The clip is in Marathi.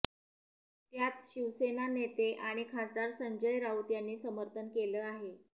त्याचं शिवसेना नेते आणि खासदार संजय राऊत यांनी समर्थन केलं आहे